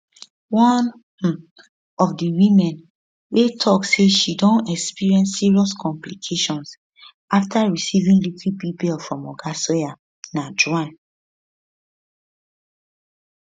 one um of di women wey tok say she don experience serious complications afta receiving liquid bbl from oga sawyer na joanne